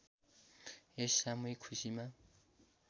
यस सामूहिक खुसीमा